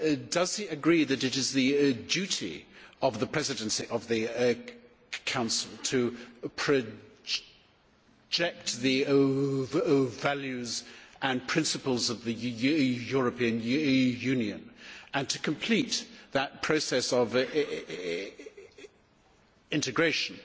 Does he agree that it is the duty of the Presidency of the Council to project the values and principles of the European Union and to complete that process of integration